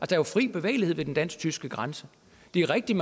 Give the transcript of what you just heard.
der er fri bevægelighed ved den dansk tyske grænse det er rigtigt